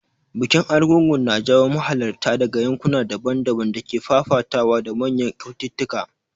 Bikin Argungu na jawo mahalarta daga yankuna daban-daban da ke fafatawa da manyan kyaututtuka.